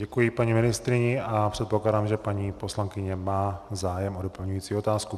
Děkuji paní ministryni a předpokládám, že paní poslankyně má zájem o doplňující otázku.